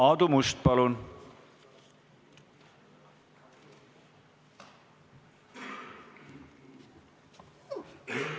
Aadu Must, palun!